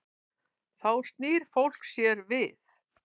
Þá snýr fólk sér við.